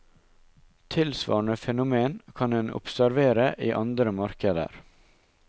Tilsvarende fenomen kan en observere i andre markeder.